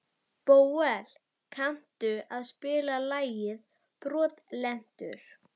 Bóel, kanntu að spila lagið „Brotlentur“?